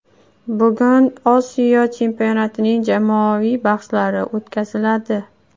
Bugun Osiyo chempionatining jamoaviy bahslari o‘tkaziladi.